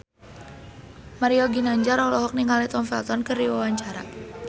Mario Ginanjar olohok ningali Tom Felton keur diwawancara